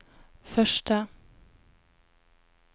første